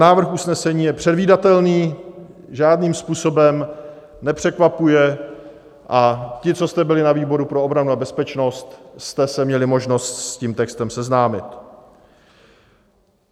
Návrh usnesení je předvídatelný, žádným způsobem nepřekvapuje, a ti, co jste byli na výboru pro obranu a bezpečnost, jste se měli možnost s tím textem seznámit.